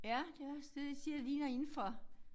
Ja det også det jeg siger det ligner inde fra